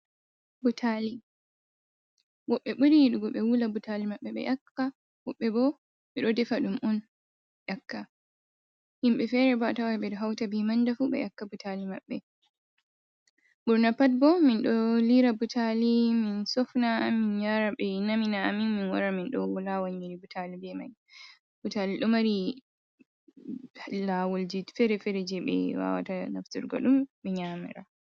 Pulaati, woɓɓe buri yiɗugo ɓe wula butaali maɓɓe, woɓɓe boo ɗo defa ɗum on ƴakka, himɓe feere boo a tawai ɓe ɗo hauta bee mandafu ɓe ƴakka butaali maɓɓe, ɓurna pat bo min ɗo liira butaali min sofna min yaara ɓe namina amin min wara min ɗo laawa nyiiri butaali bee mai, butaali ɗo mari laawolji feere-feere jei ɓe waawata nafturgo ɗum ɓe nyaamira.